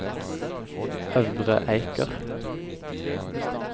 Øvre Eiker